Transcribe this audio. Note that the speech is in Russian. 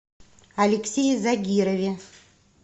алексее загирове